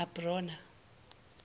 abrona